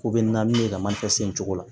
Ko bɛ na ni yɛlɛma sen cogo ye